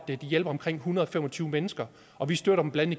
de hjælper omkring en hundrede og fem og tyve mennesker og vi støtter dem blandt